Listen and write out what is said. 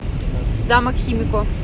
замок химико